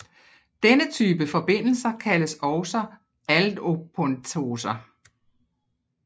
Denne type forbindelser kaldes også aldopentoser